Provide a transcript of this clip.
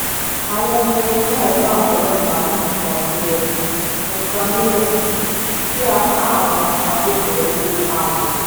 àwọn ọmọ èìyẹ náà bá àwọn ọlọ́pàá mú nǹkan nílẹ̀ nǹkan nílẹ̀ kí apá àwọn agbófinró tóo ká wọn